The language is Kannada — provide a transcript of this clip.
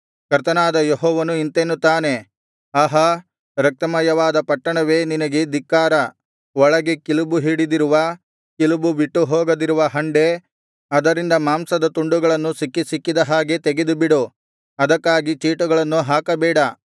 ಕರ್ತನಾದ ಯೆಹೋವನು ಇಂತೆನ್ನುತ್ತಾನೆ ಆಹಾ ರಕ್ತಮಯವಾದ ಪಟ್ಟಣವೇ ನನಗೆ ಧಿಕ್ಕಾರ ಹಂಡೆಯಲ್ಲಿನ ಕಿಲುಬು ಹೊರಗೆ ಬಾರದೆ ಅದರಲ್ಲಿ ಉಳಿದಿರುವುದೋ ಆ ಹಂಡೆಗೆ ಕಷ್ಟ ಅದರಿಂದ ಮಾಂಸವನ್ನು ತುಂಡು ತುಂಡಾಗಿ ತೆಗೆ ಆಯ್ಕೆಯ ಚೀಟಿಯನ್ನು ಹಾಕಬೇಡ